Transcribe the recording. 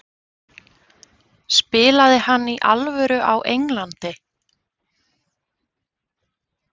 Spilaði hann í alvöru á Englandi?